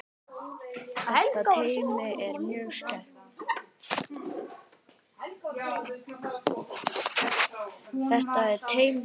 Þetta teymi er mjög sterkt.